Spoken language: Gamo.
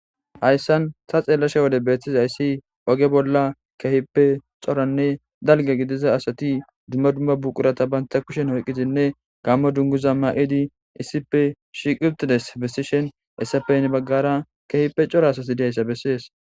Hayissan ta xelashshe wode betizayiss oge bolla kehippe cooranne dalga gidiza asati dumma dumma buqurat banta kushshen oyqidinne gammo dunguza mayidi issippe shiq utidayssa besishshin hayissappe heni bagara kehippe cora asati dizayissa besses